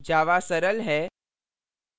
java सरल है